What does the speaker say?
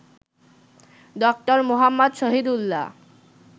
Dr Muhammad Shahidullah